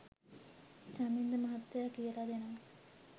චමින්ද මහත්තයා කියලා දෙනවා